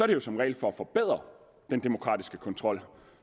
det jo som regel for at forbedre den demokratiske kontrol